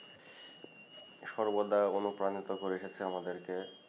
সর্বদাই অনুপ্রাণিত করে এ ক্ষেত্রে আমাদেরকে